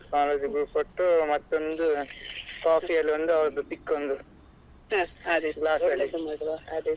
College group photo ಮತ್ತೊಂದು coffee ಅಲ್ಲಿ ಒಂದು ಅವರದ್ದು pic ಒಂದು glass ಅಲ್ಲಿ